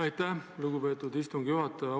Aitäh, lugupeetud istungi juhataja!